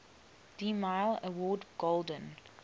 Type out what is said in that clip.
demille award golden